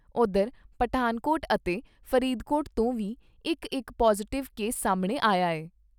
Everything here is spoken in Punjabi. ਉਧਰ ਪਠਾਨਕੋਟ ਅਤੇ ਫਰੀਦਕੋਟ ਤੋਂ ਵੀ ਇਕ ਇਕ ਪੌਜ਼ਿਟਿਵ ਕੇਸ ਸਾਹਮਣੇ ਆਇਆ ਏ।